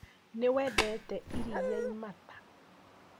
Niwendete iria imata?